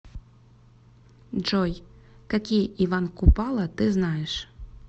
джой какие иван купала ты знаешь